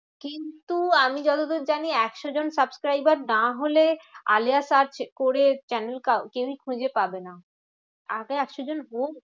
কিন্তু আমি যতদূর জানি একশো জন subscriber না হলে আলেয়া search করে channel কেউই খুঁজে পাবে না। আগে একশো জন হোক